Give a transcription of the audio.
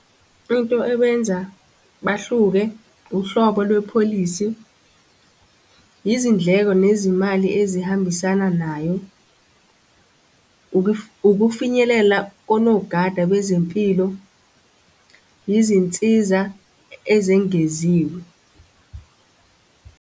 Into ewenza bahluke, uhlobo lwepholisi, izindleko nezimali ezihambisana nayo, ukufinyelela konogada bezempilo, yizinsiza ezengeziwe.